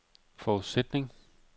forudsætning